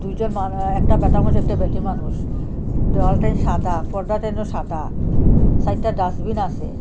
একজন মান অ্যা একটা বেটা মানুষ একটা বেটি মানুষ দেওয়ালটেন সাদা পর্দাটেনো সাদা চাইরটা ডাস্টবিন আসে।